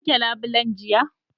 Kun wanke labulen jiya?